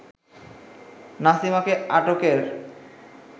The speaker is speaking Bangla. নাসিমাকে আটকের